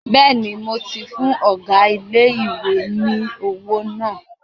Bẹ́ẹ̀ni, mo ti fún ọgá ilé-ìwé ní owó náà